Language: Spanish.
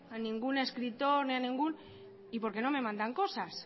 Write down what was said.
a ningún escritor y porque no me mandan cosas